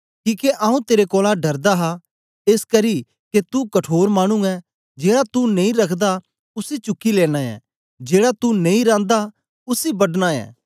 किके आऊँ तेरे कोलां डरदा हा एसकरी के तू कठोर मानु ऐं जेड़ा तू नेई रखदा उसी चुकी लेना ऐं ते जेड़ा तू नेई रांदा उसी बढना ऐ